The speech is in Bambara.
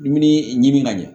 Dumuni ɲimi ka ɲɛ